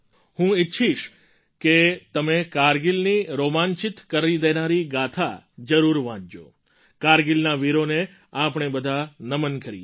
હું ઈચ્છીશ કે તમે કારગિલની રોમાંચિત કરી દેનારી ગાથા જરૂર વાંચજો કારગિલના વીરોને આપણે બધાં નમન કરીએ